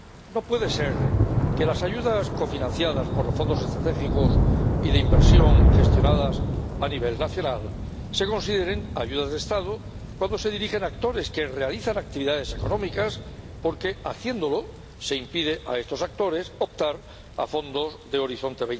No puede ser que las ayudas, cofinanciadas por los Fondos Estructurales y de Inversión y gestionadas a nivel nacional, se consideren ayudas de Estado cuando se dirigen a actores que realizan actividades económicas, porque, haciéndolo, se impide a estos actores optar a fondos de Horizonte